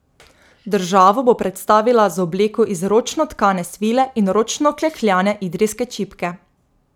Državo bo predstavila z obleko iz ročno tkane svile in ročno klekljane idrijske čipke.